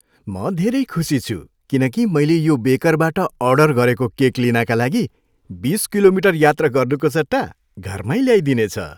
म धेरै खुसी छु किन कि मैले यो बेकरबाट अर्डर गरेको केक लिनाका लागि बिस किलोमिटर यात्रा गर्नुको सट्टा घरमा ल्याइदिनेछ।